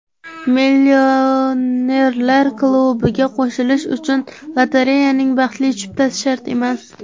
Millionerlar klubiga qo‘shilish uchun lotereyaning baxtli chiptasi shart emas.